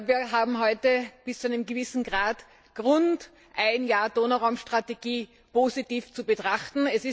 Wir haben heute bis zu einem gewissen Grad Grund, ein Jahr Donauraum Strategie positiv zu betrachten.